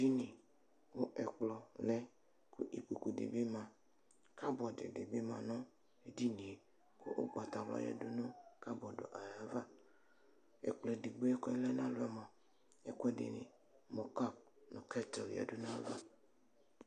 Edini kʋ ɛkplɔ lɛ, ikpokʋ dibi ma, kabɔdi dibi manʋ edinie, kʋ ʋgbatawla yadʋnʋ kabɔdi yɛ ayʋ ava Ɛkplɔ edigbo kʋ ɔlɛnʋ alɔ yɛ mʋa, ɛkʋɛdini mʋ kap nʋ kɛt yadʋnʋ ayʋ ava